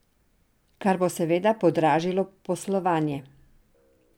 Kar bo seveda podražilo poslovanje.